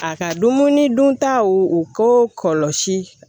A ka dumuni duntaw u ko kɔlɔsi